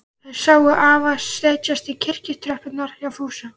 Þær sáu afa setjast á kirkjutröppurnar hjá Fúsa.